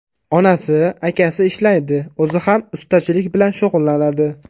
Onasi, akasi ishlaydi, o‘zi ham ustachilik bilan shug‘ullanadi.